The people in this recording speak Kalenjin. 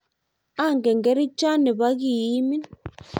angen kerichonte ne bo kii imin.